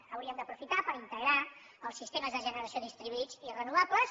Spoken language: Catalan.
ho hauríem d’aprofitar per integrar els sistemes de generació distribuïts i renovables